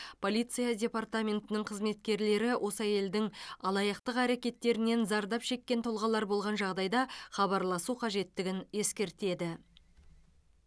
полиция департаментінің қызметкерлері осы әйелдің алаяқтық әрекеттерінен зардап шеккен тұлғалар болған жағдайда хабарласу қажеттігін ескертеді